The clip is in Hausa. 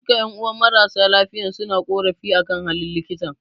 Duka ƴan'uwan marasa lafiyan suna korafi akan halin likitan